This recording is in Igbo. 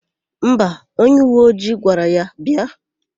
Mba, onyeuweojii gwara ya bịa.